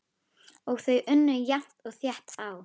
Og þau unnu jafnt og þétt á.